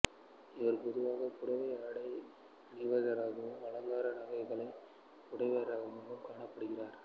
இவர் பொதுவாக புடவை ஆடை அணிந்தவராகவும் அலங்கார நகைகளை பூண்டவராகவும் காணப்படுகிறார்